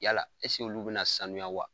Yala olu bina sanuya wa ?